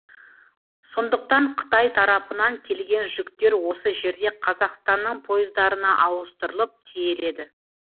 сондықтан қытай тарапынан келген жүктер осы жерде қазақстанның пойыздарына ауыстырылып тиеледі